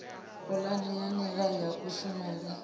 pulane ya nila ya kushumele